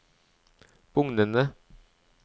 bugnende